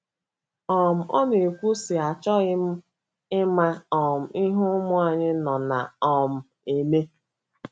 um Ọ na - ekwu, sị: “ Achọghị m ịma um ihe ụmụ anyị nọ na um - eme.